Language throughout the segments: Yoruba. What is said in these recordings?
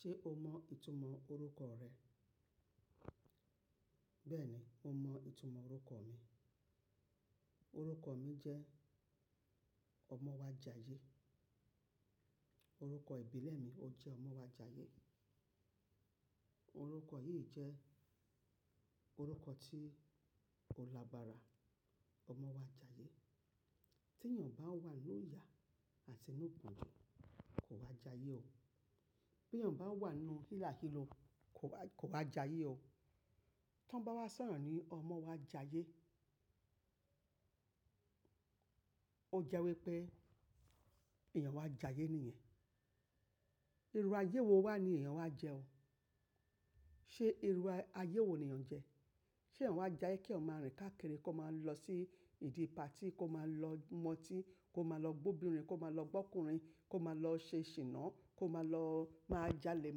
Ṣé o mọ ìtumọ̀ orúkọ rẹ? Bẹ́ẹ̀ni, mo mọ ìtumọ̀ orúkọ mi. Orúkọ mi jẹ́ ọmọ wa jayé. Orúkọ ìbílẹ̀ mi ó jẹ́ ọmọ wa jayé. Orúkọ yìí jẹ́ orúkọ tí ó labara ọmọ wa jayé. Tí èyàn bá wà nínú ìyà àti nínú pọ́njú, kò wá jayé o. Bí èyàn bá wà nínú hila hilo, kò wá jayé o. Tí wọ́n bá wá sọ èèyàn ní ọmọ wa jayé, ó jẹ́ wípé èèyàn wá jayé nìyẹn. Irú ayé wo wá ni èyàn wá jẹ o? Ṣé irú ayé wo ni èèyàn jẹ? Ṣé èyàn wá jayé kí ọmọ rìn káàkiri, kó máa lọ sí ìdí party, kó máa lọ mọtí, kó máa lọ gbóbi obìnrin, kó máa lọ gbọ́kùnrin, kó máa lọ ṣe ṣìnà, kó máa lọ máa jalè,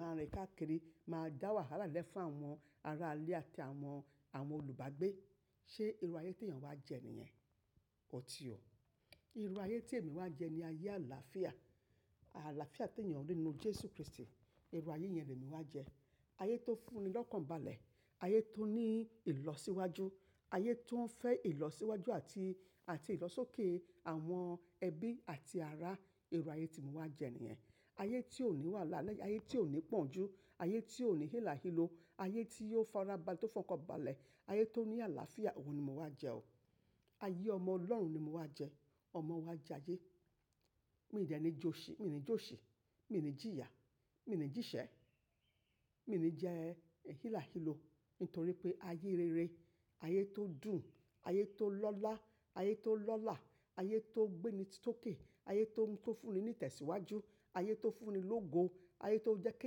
máa rìn káàkiri, máa dá wàhálà lẹ́fà àwọn ará ilé àti àwọn, àwọn olùbágbé. Ṣé irú ayé tí èyàn wá jẹ nìyẹn? Kò ti o. Irú ayé tí èmi wá jẹ ni ayé àlàáfíà. Àlàáfíà tí èyàn rí nínú Jésù Kristi. Irú ayé yẹn ni èmi wá jẹ. Ayé tó fúnni lọ́kàn balẹ̀, ayé tó ní ìlọsíwájú, ayé tó ń fẹ̀ ìlọsíwájú àti, àti ìlọ́sókè àwọn ẹbí àti ará, irú ayé tí mo wá jẹ nìyẹn. Ayé tí ò ní wàhálà lẹ́yìn, ayé tí ò ní pọ́njú, ayé tí ò ní hila hilo, ayé tí yóò fara balẹ̀, tó fọ́n kọ́ balẹ̀, ayé tó ní àlàáfíà, òhun ni mo wá jẹ o. Ayé ọmọ Ọlọ́run ni mo wá jẹ, ọmọ wa jayé. Mi ò jẹ ẹni jó ṣì, mi ò ní jó ṣì, mi ò ní jìyà, mi ò ní jìṣẹ́, mi ò ní jẹ hila hilo. Nítorí pé ayé rere, ayé tó dùn, ayé tó lọ́lá, ayé tó lọ́lá, ayé tó gbé ni tókè, ayé tó ń fúnni ní ìtẹ̀síwájú, ayé tó fúnni lógo, ayé tó jẹ́ kí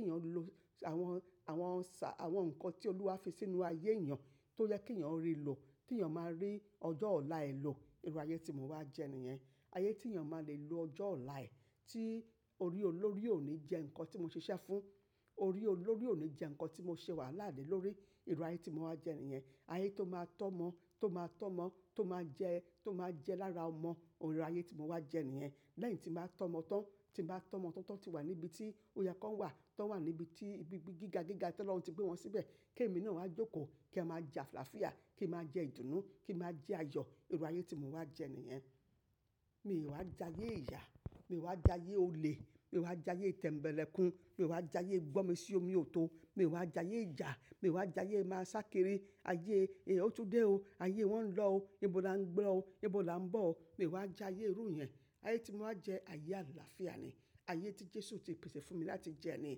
èyàn lo àwọn, àwọn ṣà, àwọn nǹkan tí Olúwa fi sínú ayé èèyàn tó jẹ́ kí èèyàn rí lò, tí èèyàn máa rí ọjọ́ ọ̀la è lọ, irú ayé tí mo wá jẹ nìyẹn. Ayé tí èèyàn máa lè lo ọjọ́ ọ̀la ẹ̀, tí orí olórí ò ní jẹ nǹkan tí mo ṣiṣẹ́ fún, orí olórí ò ní jẹ nǹkan tí mo ṣe wàhálà lé lórí, irú ayé tí mo wá jẹ nìyẹn. Ayé tó máa tọ́mọ, tó máa tọ́mọ, tó máa jẹ, tó máa jẹ lára ọmọ, irú ayé tí mo wá jẹ nìyẹn. Lẹ́yìn tí màá tọ́mọ tán, tí màá tọ́mọ tán tí wà níbi tí óyẹ kan wà, tó wà níbi tí ibi gíga gíga tí Ọlọ́run ti gbé wọn síbẹ̀, kí èmi náà wá jókòó, kí a máa jẹ àlàáfíà, kí a máa jẹ́ ìdùnnú, kí a máa jẹ́ ayọ̀, irú ayé tí mo wá jẹ nìyẹn. Mi ò wá jayé ìyà, mi ò wá jayé olè, mi ò wá jayé ìtẹ̀mbẹlẹ́kùn, mi ò wá jayé gbọ́mi-sí-omi ò tó, mi ò wá jayé ìyà, mi ò wá jayé máa sákiri ayé èyí ó túndé o, ayé wọ́n ń lọ o, ibo la ń gbọ́ o, ibo la ń bọ̀ o, mi ò wá jayé irú yẹn. Ayé tí mo wá jẹ ayé àlàáfíà ni, ayé tí Jésù ti pèsè fún mi láti jẹ ni.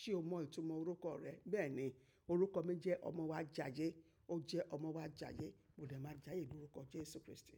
Ṣé o mọ ìtumọ̀ orúkọ rẹ? Bẹ́ẹ̀ni, orúkọ mi jẹ́ ọmọ wa jayé, ó jẹ́ ọmọ wa jayé. Mo dà máa jayé ní orúkọ Jésù Kristi.